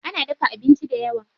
Ana dafa abincin dayawa.